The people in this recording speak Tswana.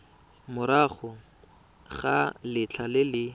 morago ga letlha le le